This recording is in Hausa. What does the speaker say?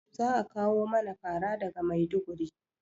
Za a kawo mana fara daga maiduguri